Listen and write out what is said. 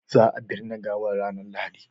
za a binne gawan ranar lahadi